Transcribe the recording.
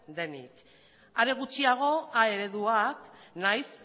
denik are gutxiago a ereduak nahiz